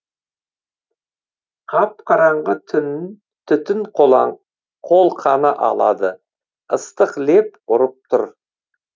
қап қараңғы түтін қолқаны алады ыстық леп ұрып тұр